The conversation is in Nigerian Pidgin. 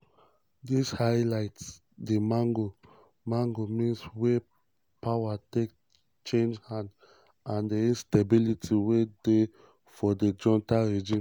dis highlight di mago-mago means wey power take change hands and di instability wey dey for di junta regime.'